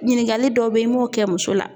Ɲininkali dɔ bɛ ye i m'o kɛ muso la.